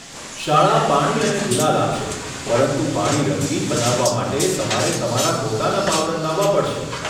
શાળા પાણી અને ગુલાલ આપશે, પરંતુ પાણી રંગીન બનાવવા માટે તમારે તમારા પોતાના પાવડર લાવવા પડશે.